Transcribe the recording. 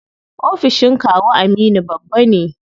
Ofishin kawu Aminu babba ne.